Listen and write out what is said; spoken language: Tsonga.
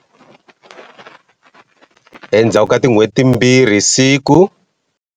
Endzhaku ka tin'hweti timbirhi, siku.